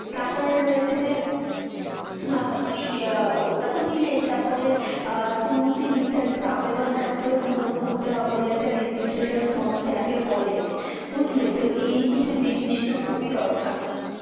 তারপরে রয়েছে যে, হ্যাঁ ওই ওটাতে নিলেই তারপরে দুটি নির্ধারিত আবেদনপত্র পূরণ করতে হবে, ওদের একটা registration form যাকে বলে, বুঝলে? তো এই কিছু জিনিসতো খুবই দরকার।